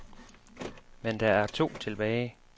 Men der er to tilbage.